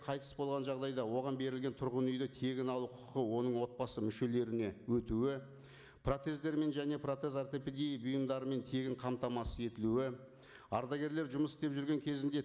қайтыс болған жағдайда оған берілген тұрғын үйді тегін алу құқығы оның отбасы мүшелеріне өтуі протездермен және протез ортопедия бұйымдарымен тегін қамтамасыз етілуі ардагерлер жұмыс істеп жүрген кезінде